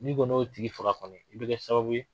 N'i kɔni y'o tigi faga kɔnɔi i bɛ kɛ sababu ye